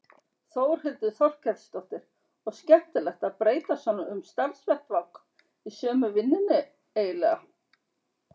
Þórhildur Þorkelsdóttir: Og skemmtilegt að breyta svona um starfsvettvang í sömu vinnunni eiginlega?